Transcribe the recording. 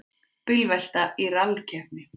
Bílvelta í rallkeppni